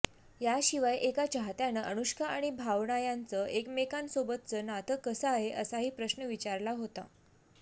याशिवाय एका चाहत्यानं अनुष्का आणि भावना यांचं एकमेकांसोबतचं नातं कसं आहे असाही प्रश्न विचारला होता